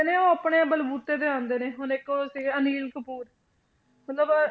ਨੇ ਉਹ ਆਪਣੇ ਬਲਬੂਤੇ ਤੇ ਆਉਂਦੇ ਨੇ, ਹੁਣ ਇੱਕ ਉਹ ਸੀਗੇ ਅਨਿਕ ਕਪੂਰ ਮਤਲਬ